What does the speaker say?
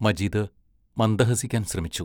മജീദ് മന്ദഹസിക്കാൻ ശ്രമിച്ചു.